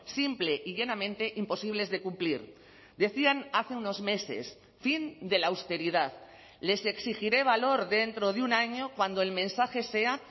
simple y llanamente imposibles de cumplir decían hace unos meses fin de la austeridad les exigiré valor dentro de un año cuando el mensaje sea